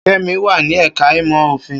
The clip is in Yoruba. Kemi wà ní ẹ̀ka ìmọ̀ òfin.